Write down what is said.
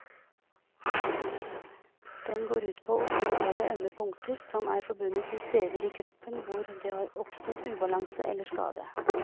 Den går ut på å stimulere ømme punkter som er forbundet med steder i kroppen hvor det har oppstått ubalanse eller skade.